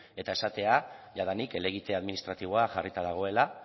eta esatea jadanik helegite administratiboa jarrita dagoela